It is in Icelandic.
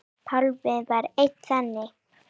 Pálmi var einn þeirra.